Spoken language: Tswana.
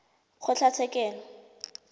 kgotlatshekelo